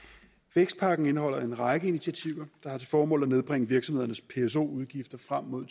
vækstpakken indeholder en række initiativer der har til formål at nedbringe virksomhedernes pso udgifter frem mod